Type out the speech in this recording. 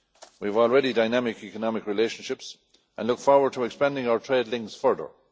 We already have dynamic economic relationships and we look forward to expanding our trade links further.